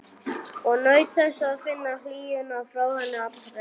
Og naut þess að finna hlýjuna frá henni allri.